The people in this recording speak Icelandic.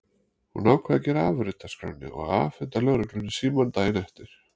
Hún ákvað að gera afrit af skránni og afhenda lögreglunni símann daginn eftir.